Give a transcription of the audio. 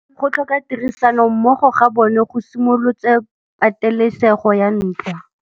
Go tlhoka tirsanommogo ga bone go simolotse patêlêsêgô ya ntwa.